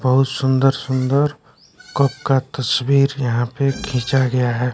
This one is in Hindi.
बहुत सुंदर सुंदर कप का तस्वीर यहां पे खींचा गया हैं।